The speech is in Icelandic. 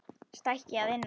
Stækki að innan.